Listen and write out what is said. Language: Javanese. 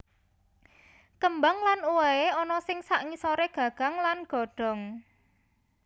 Kembang lan uwohe ana ing sangisore gagang lan godhong